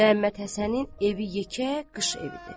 Məhəmmədhəsənin evi yekə qış evidir.